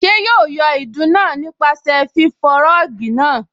Ṣé yóò yọ ìdun náà nípasẹ̀ fífọ rọ́ọ̀gì náà?